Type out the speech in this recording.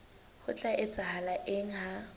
ho tla etsahala eng ha